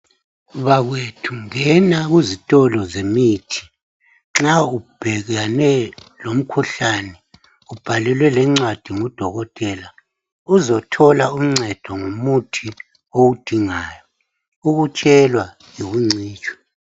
Bakwethu ngena kuzitolo zemithi nxa ubhekane lomkhuhlane ubhalelwe lencwadi ngudokotela uzothola uncedo ngomuthi owudingayo ukutshelwa yikuncitshwa